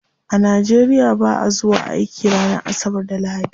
A nigeria ba'a zuwa aiki ranar asabar da lahadi.